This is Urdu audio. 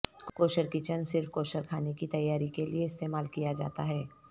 کوشر کچن صرف کوشر کھانے کی تیاری کے لئے استعمال کیا جاتا ہے